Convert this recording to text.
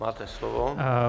Máte slovo.